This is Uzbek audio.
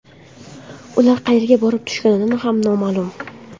Ular qayerga borib tushgani ham noma’lum.